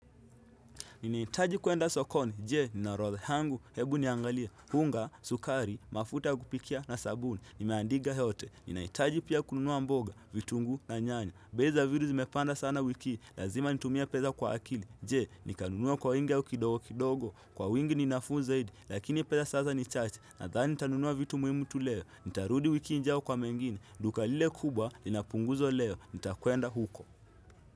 Nini itaji kuenda sokoni, jee, nina orodha yangu, hebu niangalia, unga, sukari, mafuta ya kupikia na sabuni, nimeandiga yote, ninahitaji pia kununua mboga, vitunguu na nyanya bei za vitu zimepanda sana wiki hii, lazima nitumie peza kwa akili, jee, nikanunua kwa wingi au kidogo kidogo, kwa wingi ni nafuu zaidi, lakini pesa sasa ni chache, nadhani nitanunua vitu muhimu tu leo Nitarudi wiki injao kwa mengine, duka lile kubwa, lina punguzo leo, nitakwenda huko.